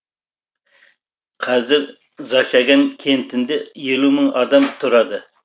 қазір зачаган кентінде елу мың адам тұрады